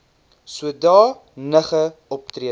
soda nige optrede